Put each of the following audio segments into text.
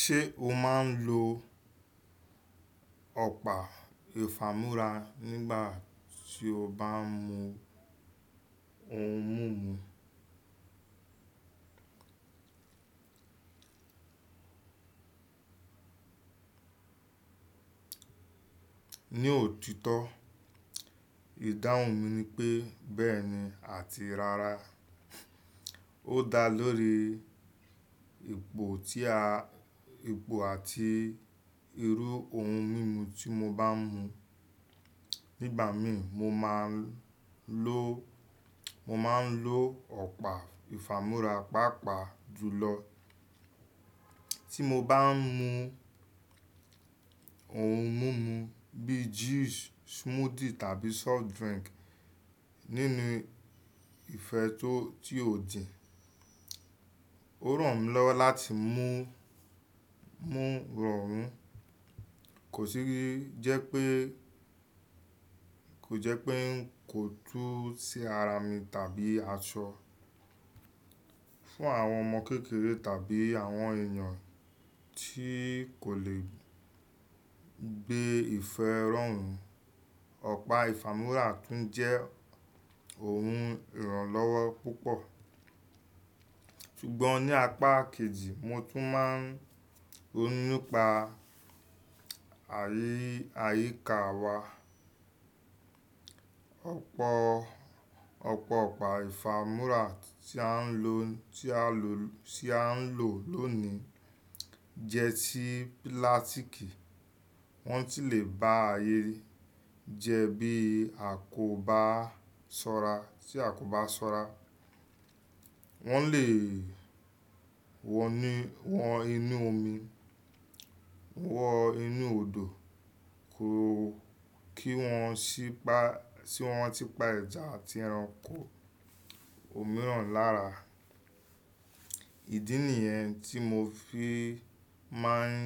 Ṣé o máa ń lo ọ̀pá ìfámú́ra nígbà tí o bá ń mu ohun mímu? Ní òtítọ́, ìdáhùn mi ni pé bẹ́ẹ̀ni àti rára. Ó dá lórí ipò àti irú ohun mímu tí mo bá ń mu. Nígbà mi mo máa ń lo, mo maa n lo ọ̀pá ìfámú́ra pàápàá jùlọ. Tí mo bá ń mu ohun mímu bíi juice, smoothie tàbí soft drink nínú ìfẹ́ tó ti òdì, ó ràn mí lọ́wọ́ láti mú mú rọrùn, kò jẹ́ pé ń kò tú sí ara mi tàbí aṣọ. Fún àwọn ọmọ kékeré tàbí àwọn èèyàn tí kò lè gbé ìfẹ́ rọrùn, ọ̀pá ìfámú́ra tún jẹ́ ohun ìrànlọ́wọ́ púpọ̀. Ṣùgbọ́n ní apá kejì mo tún máa ń rónu nipa àyíká wa. Ọ̀pọ̀ ọ̀pá ìfámú́ra tí à ń lò lónìí jẹ́ ti pílátíkì, wọ́n sì lè bá ayé rí jẹ́ bí a kò bá ṣọ́ra. Wọ́n lè wọ inú omi, wọ inú odò kí wọ́n si pa ẹja àti ẹranko, omi rán lára. Ìdí nìyẹn tí mo fi máa ń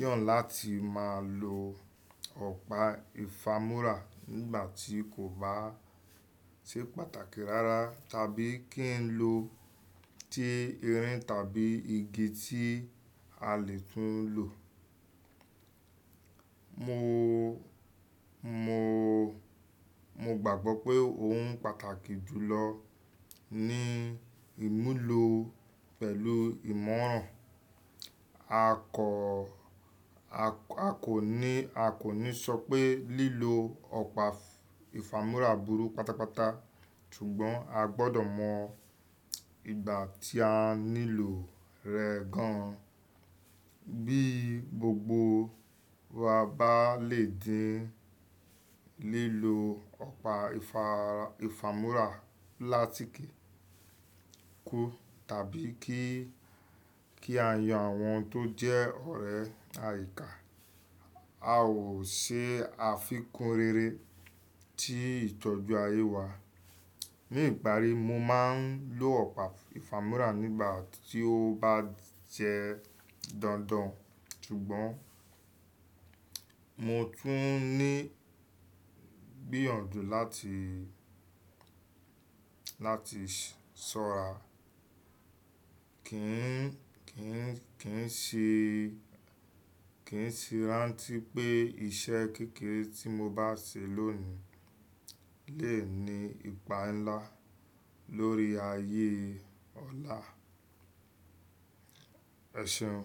yàn láti máa lo ọ̀pá ìfámú́ra nígbà tí kò bá ṣe pàtàkì rára tàbí kí n lo ti irin tàbí igi tí a lè tún lò. Mo gbàgbọ́ pé òun pàtàkì jùlọ ni ìmúlo pẹ̀lú ìmọ̀ràn. A kò ní sọ pé lílo ọ̀pá ìfámú́ra burú pátápátá, ṣùgbọ́n a gbọ́dọ̀ mọ ìgbà tí a nílò rẹ̀ gan. Bí gbogbo wa bá le dín lílo ọ̀pá ìfámú́ra plastic kú tàbí kí a yan àwọn tó jẹ́ ọ̀rẹ́ àyíká, a ó ṣe àfikún rere tí ìtọ́jú ayé wa. Ní ìparí, mo máa ń lo ọ̀pá ìfámú́ra nígbà tí ó bá jẹ́ dandan, ṣùgbọ́n mo tún ní igbìyànjú láti ṣọ́ra. Kì í si ráǹtí pé iṣẹ́ kékeré tí mo bá ṣe lónìí lè ní ipa ńlá lórí ayé ọ̀la. Ẹ̀ṣeun.